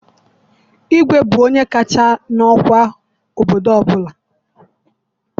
Igwe bụ onye kacha n'ọkwa n'obodo ọbụla.